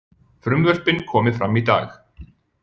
Frumvörpin komi fram í dag